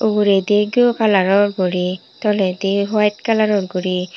uguredi ghee o colour ror guri toledi white colour ror guri.